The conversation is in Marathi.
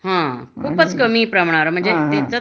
हा खुपच कमी प्रमाण